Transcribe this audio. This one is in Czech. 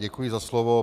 Děkuji za slovo.